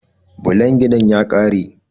Blon ginin ya ƙare.